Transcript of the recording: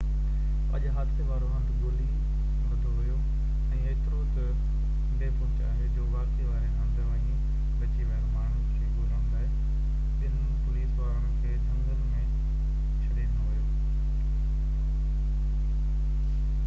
اڄ حادثي وارو هنڌ ڳولي لڌو ويو ۽ ايترو تہ بي پهچ آهي جو واقعي واري هنڌ وڃي بچي ويل ماڻهن کي ڳولڻ لاءِ ٻن پوليس وارن کي جهنگل ۾ ڇڏي ڏنو ويو